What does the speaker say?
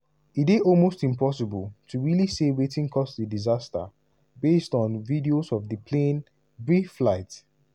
e dey almost impossible to really say wetin cause di disaster based on videos of di plane brief flight.